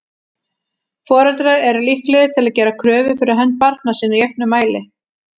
Foreldrar eru líklegir til að gera kröfur fyrir hönd barna sinna í auknum mæli.